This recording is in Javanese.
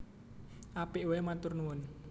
Apik waé matur nuwun